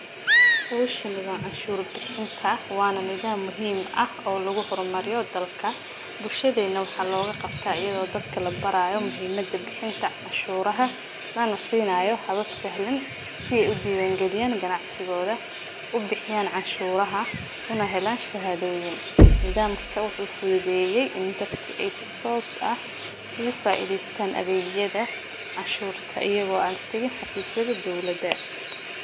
Hishan waa cashur bixinta wana nidham muhiim ah oolagu hormariyo dalka bulshaadena waxaa loga qabta iyada oo dadka labarayo muhiimada bixinta canshuraha lana sinayo habab si sahlan si ee usiwan galiyan ganacsigodha u bixiyan canshuraha una helan shahadoyin nidhamka wuxuu fududeyey in dadka ee si tos ah ugu faidhestan adhegyaada cashurta iyaga oo an tagin xafisyaada dowlaada.